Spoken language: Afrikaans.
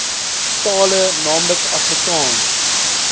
tale naamlik afrikaans